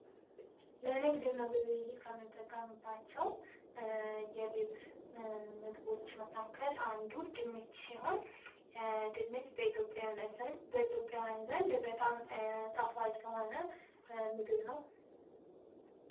ለንግድ እና ግብይት ከምንጠቀምባቸው የቤት ምግቦች መካከል አንዱ ድንች ሲሆን ድንች በኢትዮጵያውያን ዘንድ በጣም ጣፋጭ የሆነ ምግብ ነው።